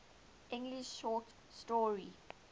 english short story